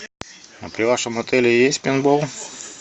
а при вашем отеле есть пейнтбол